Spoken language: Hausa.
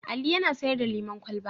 Ali yana sayar da lemon kwalaba.